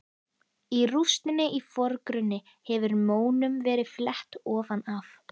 Í rústinni í forgrunni hefur mónum verið flett ofan af.